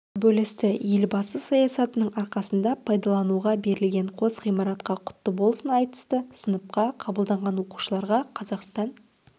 бөлісті елбасы саясатының арқасында пайдалануға берілген қос ғимаратқа құтты болсын айтысты сыныпқа қабылданған оқушыларға қазақстан